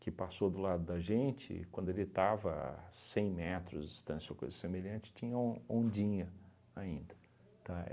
que passou do lado da gente, quando ele estava a cem metros de distância ou coisa semelhante, tinham ondinha ainda, tá,